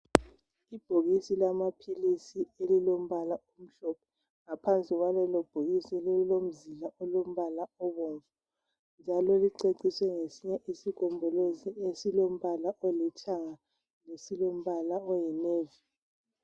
Ibhokisi lamaphilisi elilombala omhlophe, ngaphansi kwalelo bhokisi kulomzila olombala obomvu njalo licecisiwe ngesinye isigombolozi esilombala olithanga lesilombala oyinevi.